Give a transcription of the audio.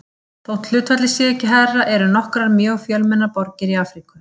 Þó hlutfallið sé ekki hærra eru nokkrar mjög fjölmennar borgir í Afríku.